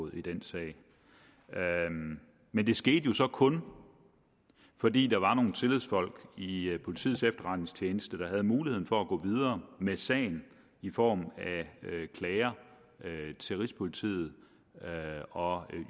i den sag men det skete jo så kun fordi der var nogle tillidsfolk i i politiets efterretningstjeneste der havde muligheden for at gå videre med sagen i form af klager til rigspolitiet og